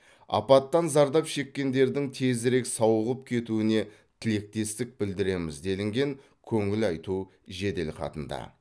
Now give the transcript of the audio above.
апаттан зардап шеккендердің тезірек сауығып кетуіне тілектестік білдіреміз делінген көңіл айту жеделхатында